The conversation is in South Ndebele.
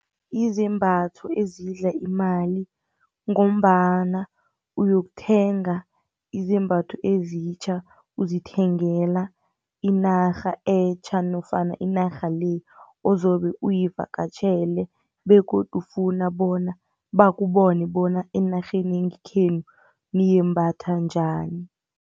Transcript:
Izembatho ezidla imali ngombana uyokuthenga izembatho ezitjha uzithengela inarha etjha nofana inarha le ozobe uyivakatjhele, begodu ufuna bona bakubone bona enarheni yangekhenu nimbatha njani.